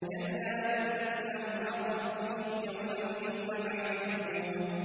كَلَّا إِنَّهُمْ عَن رَّبِّهِمْ يَوْمَئِذٍ لَّمَحْجُوبُونَ